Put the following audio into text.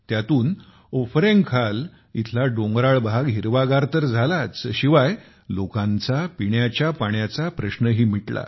यातून उफरैंखाल इथला डोंगराळ भाग हिरवागार तर झालाच शिवाय लोकांचा पिण्याच्या पाण्याचा प्रश्नही मिटला